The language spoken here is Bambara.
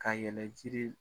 Ka yɛlɛ jiri